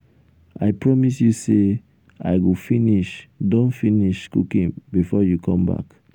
i promise you say i go finish don finish cooking before you come back